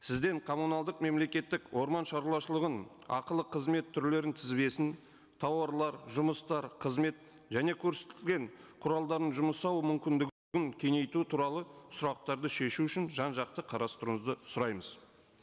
сізден коммуналдық мемлекеттік орманшаруашылығын ақылы қызмет түрлерінің тізбесін тауарлар жұмыстар қызмет және көрсетілген құралдарының жұмысы ауы кеңейту туралы сұрақтарды шешу үшін жан жақты қарастыруыңызды сұраймыз